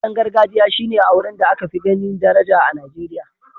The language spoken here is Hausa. Auren gargajiya shi ne auren da aka fi ganin daraja a Nigeriya.